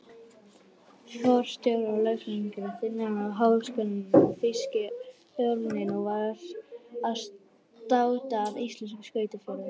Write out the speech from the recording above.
Forstjórar, lögfræðingar, þingmenn og háskólakennarar- þýski örninn varð að státa af íslenskum skrautfjöðrum.